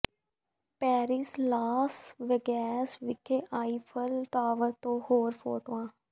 Paris Las Vegas ਵਿਖੇ Eiffel tower ਤੋਂ ਹੋਰ ਫੋਟੋਆਂ